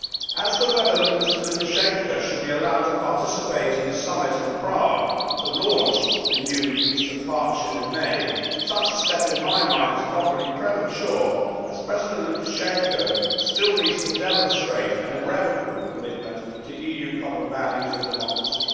As to whether Mr Lukashenko should be allowed to participate in the summit in Prague to launch the new Eastern Partnership in May, such a step, to my mind, is probably premature, as President Lukashenko still needs to demonstrate an irrevocable commitment to EU common values and democracy.